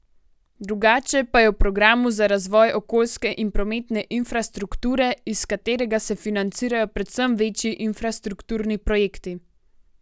Drugače pa je v programu za razvoj okoljske in prometne infrastrukture, iz katerega se financirajo predvsem večji infrastrukturni projekti.